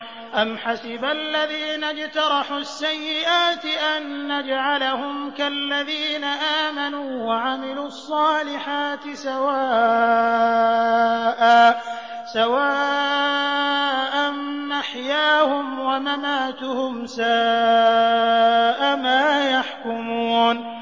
أَمْ حَسِبَ الَّذِينَ اجْتَرَحُوا السَّيِّئَاتِ أَن نَّجْعَلَهُمْ كَالَّذِينَ آمَنُوا وَعَمِلُوا الصَّالِحَاتِ سَوَاءً مَّحْيَاهُمْ وَمَمَاتُهُمْ ۚ سَاءَ مَا يَحْكُمُونَ